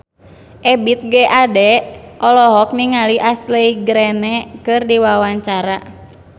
Ebith G. Ade olohok ningali Ashley Greene keur diwawancara